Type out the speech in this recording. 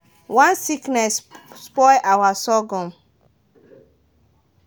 one sickness spoil our sorghum.